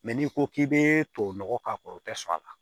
n'i ko k'i bɛ tubabu nɔgɔ k'a kɔrɔ o tɛ sɔn a la